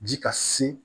Ji ka se